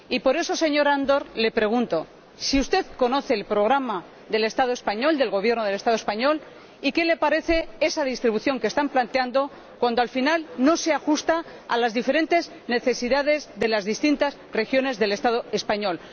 Y por eso, señor Andor, le pregunto si usted conoce el programa del Estado español, del Gobierno del Estado español, y qué le parece esa distribución que está planteando cuando al final no se ajusta a las diferentes necesidades de las distintas regiones del Estado español.